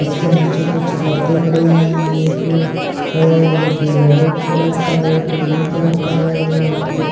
उसके नीचे कोई चीपते पड़े है एक अ अ ये येलो कलर एक ब्लू कलर का है ओर यहाँ पर ऊपर --